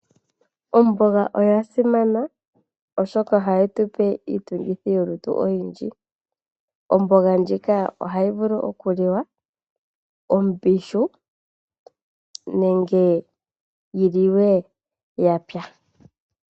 Omboga oya simana oshoka ohayi tupe iitungithilutu oyindji. Omboga ndjika ohayi vulu okuliwa ombihu nenge yi liwe ya pya.